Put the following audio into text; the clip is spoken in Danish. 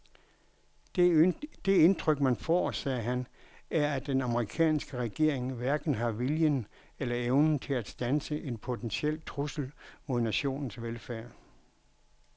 Det indtryk man får, sagde han, er at den amerikanske regering hverken har viljen eller evnen til at standse en potentiel trussel mod nationens velfærd.